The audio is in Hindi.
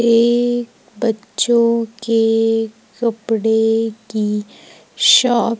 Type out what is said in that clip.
ये बच्चों के कपड़े की शॉप --